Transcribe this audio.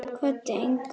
Kvaddi engan.